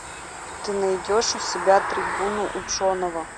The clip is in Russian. ты найдешь у себя трибуну ученого